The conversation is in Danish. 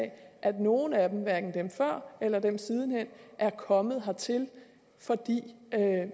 at nogle af dem hverken dem før eller dem siden er kommet hertil fordi